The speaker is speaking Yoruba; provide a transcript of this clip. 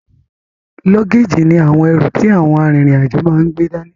Lọ́géèjì ní àwọn ẹrù ti àwọn a rin ìrìn àjò máa n gbé dání